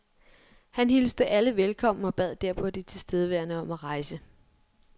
Han alle velkommen og bad derpå de tilstedeværende om at rejse.